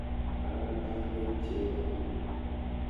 Ara aale cheko?